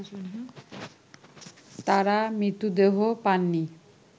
তারা মৃতদেহ পাননি